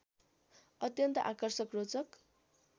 अत्यन्त आकर्षक रोचक